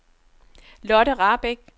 Lotte Rahbek